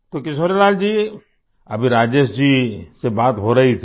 तो किशोरीलाल जी अभी राजेश जी से बात हो रही थी